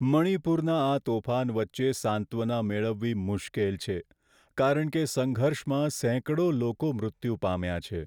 મણિપુરના આ તોફાન વચ્ચે સાંત્વના મેળવવી મુશ્કેલ છે કારણ કે સંઘર્ષમાં સેંકડો લોકો મૃત્યુ પામ્યાં છે.